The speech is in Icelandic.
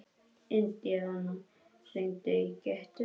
Indíana, hringdu í Gyttu.